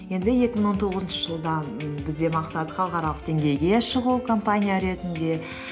енді екі мың он тоғызыншы жылдан бізде мақсат халықаралық деңгейге шығу компания ретінде